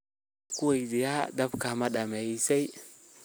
Ankuweydiyex, daabka madamisey?